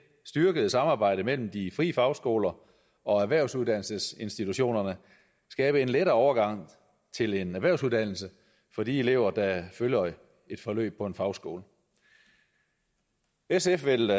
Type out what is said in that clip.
styrkede samarbejde mellem de frie fagskoler og erhvervsuddannelsesinstitutionerne skabe en lettere overgang til en erhvervsuddannelse for de elever der følger et forløb på en fagskole sf vil